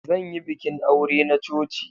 Zan yi bikin aure na coci.